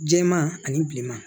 Jɛman ani bilenman